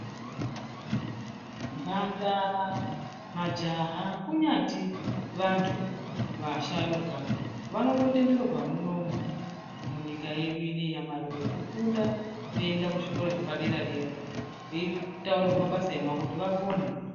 Mhandara majaha kunyati vanthu vasharuka vanototenderwa munomu munyika yedu ineyi yamaMarure kufunda veienda kuzvikora zvepadera-dera veitaurirwa mabasa emaoko kuti vapone.